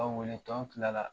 A wele k'anw kila la.